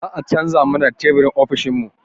Za a canza mana teburin ofishin mu